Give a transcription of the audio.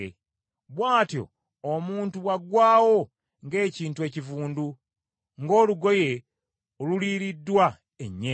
Bw’atyo omuntu bw’aggwaawo ng’ekintu ekivundu, ng’olugoye oluliiriddwa ennyenje.”